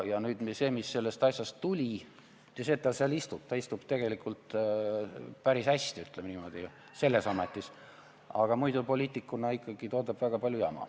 See, mis sellest asjast tuli – mitte see, et ta seal istub, ta istub tegelikult päris hästi, ütleme niimoodi, selles ametis –, poliitikuna ikkagi ta toodab väga palju jama.